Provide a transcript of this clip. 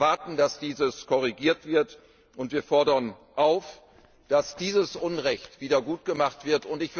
Wir erwarten, dass dies korrigiert wird, und wir fordern dazu auf, dass dieses Unrecht wieder gutgemacht wird.